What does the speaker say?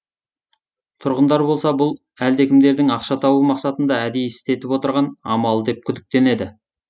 тұрғындар болса бұл әлдекімдердің ақша табу мақсатында әдейі істетіп отырған амалы деп күдіктенеді